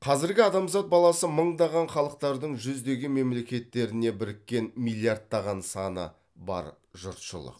қазіргі адамзат баласы мыңдаған халықтардың жүздеген мемлекеттеріне біріккен миллиардтаған саны бар жұртшылық